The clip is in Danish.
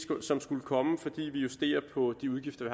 som skulle komme fordi vi justerer på de udgifter